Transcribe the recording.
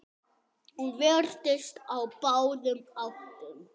Hún virtist á báðum áttum.